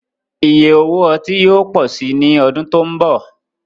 Ìyẹ̀ òwò ọ̀tí yóò pọ̀ sí ní ọ̀dún tó nbọ̀